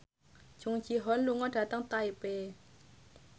Jung Ji Hoon lunga dhateng Taipei